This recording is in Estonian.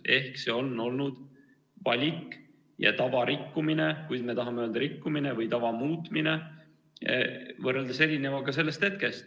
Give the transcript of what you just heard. Ehk see on olnud valik ja tava rikkumine, kui me tahame öelda "rikkumine", või tava muutmine võrreldes eelnevaga.